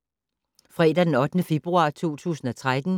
Fredag d. 8. februar 2013